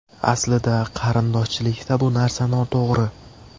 Aslida qarindoshchilikda bu narsa noto‘g‘ri.